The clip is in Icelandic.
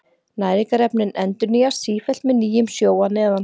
Næringarefnin endurnýjast sífellt með nýjum sjó að neðan.